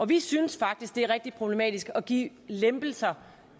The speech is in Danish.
vi synes faktisk det er rigtig problematisk at give lempelser